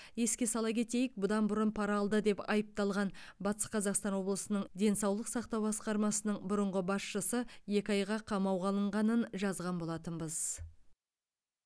еске сала кетейік бұдан бұрын пара алды деп айыпталған батыс қазақстан облысының денсаулық сақтау басқармасының бұрынғы басшысы екі айға қамауға алынғанын жазған болатынбыз